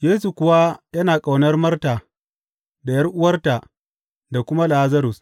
Yesu kuwa yana ƙaunar Marta da ’yar’uwarta da kuma Lazarus.